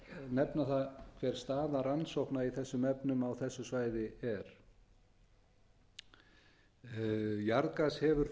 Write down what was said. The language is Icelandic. nefna það hver staða rannsókna í þessum efnum á þessu svæði er jarðgas hefur